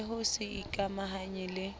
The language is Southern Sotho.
le ho se ikamahanye le